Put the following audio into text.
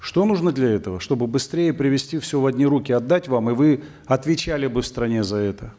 что нужно для этого чтобы быстрее привести все в одни руки отдать вам и вы отвечали бы в стране за это